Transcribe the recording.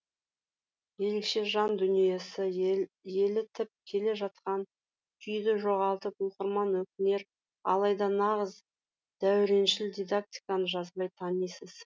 ерекше жан дүниесі елітіп келе жатқан күйді жоғалтып оқырман өкінер алайда нағыз дәуреншіл дидактиканы жазбай танисыз